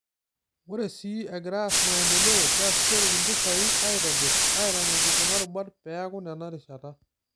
Ore sii egirai aas maendeleo, keasishoreki mpisai aitobirr, aiteng'ejuk kuna rubat peaku nena rishata.